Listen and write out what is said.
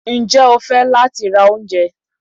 njẹ ofe latí ra oúnjẹ?